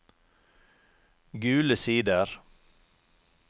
Gule Sider